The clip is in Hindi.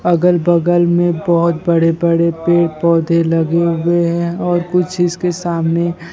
अगल बगल में बहुत बड़े बड़े पेड़ पौधे लगे हुए हैं और कुछ इसके सामने।